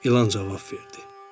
İlan cavab verdi.